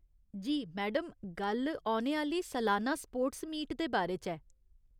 जी , madam, गल्ल औने आह्‌ला‌ली सलान्ना स्पोर्ट्स मीट दे बारे च ऐ।